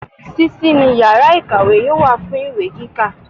Sísí ni yàrá ìkàwé yóò wà fún ìwé kíkà